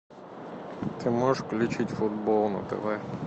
ты можешь включить футбол на тв